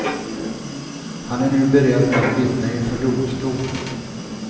Han är nu beredd att vittna inför domstol.